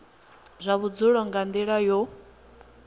zwa vhudzulo nga nila yo